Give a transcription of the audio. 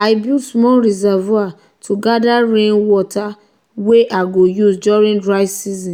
i build small reservoir to gather rainwater wey i go use during dry season.